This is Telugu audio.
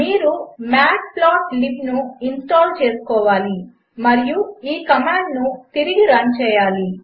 మీరుmatplotlibనుఇన్స్టాల్చేసుకోవాలిమరియుఈకమాండునుతిరిగిరన్చేయాలి